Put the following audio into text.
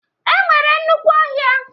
E nwere nnukwu ọhịa.